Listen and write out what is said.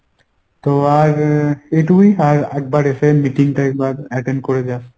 তো আর এইটুকুই আর একবার এসে meeting টা একবার attend করে যাস।